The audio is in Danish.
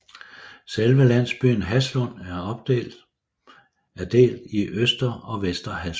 Selve landsbyen Haslund er delt i Øster og Vester Haslund